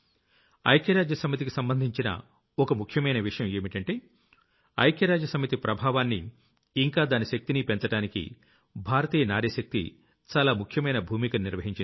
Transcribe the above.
ఐక్యరాజ్య సమితికి సంబంధించిన ఓ ముఖ్యమైన విషయం ఏంటంటే ఐక్యరాజ్య సమితి ప్రభావనాన్ని ఇంకా దాని శక్తిని పెంచడానికి భారతీయ నారీశక్తి చాలా ముఖ్యమైన భూమికను నిర్వహించింది